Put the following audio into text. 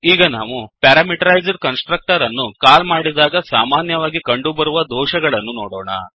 ಈಗ ನಾವು parameterised constructor ಅನ್ನು ಕಾಲ್ ಮಾಡಿದಾಗ ಸಾಮಾನ್ಯವಾಗಿ ಕಂಡುಬರುವ ದೋಷಗಳನ್ನು ನೋಡೋಣ